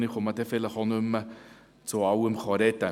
Ich werde vielleicht nicht mehr zu allen Vorstössen sprechen.